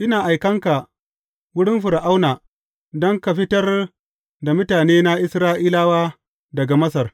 Ina aikan ka wurin Fir’auna don ka fitar da mutanena Isra’ilawa daga Masar.